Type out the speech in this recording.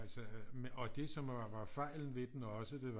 Altså og det som var fejlen ved den også det var